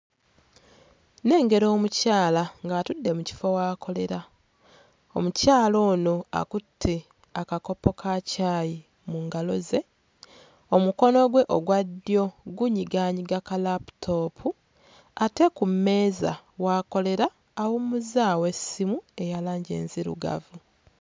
Nnengera omukyala ng'atudde mu kifo w'akolera. Omukyala Ono akutte akakopo ka caayi mu ngalo ze. Omukono gwe ogwa ddyo gunyigaanyiga kalaaputoopu ate ku mmeeza w'akolera awummuzzaawo essimu eya langi enzirugavu..